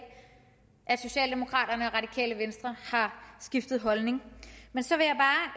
at socialdemokraterne og radikale venstre har skiftet holdning så vil